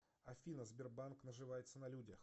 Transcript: афина сбербанк наживается на людях